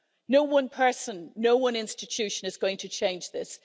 No one person, no one institution is going to change this.